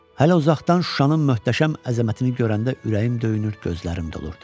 Hələ uzaqdan Şuşanın möhtəşəm əzəmətini görəndə ürəyim döyünür, gözlərim dolurdu.